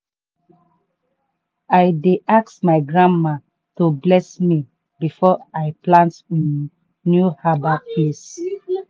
i dey ask my grandma to bless me before i plant um new herb place.